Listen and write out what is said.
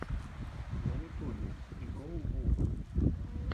на ютубе ди гоу бум